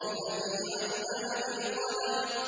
الَّذِي عَلَّمَ بِالْقَلَمِ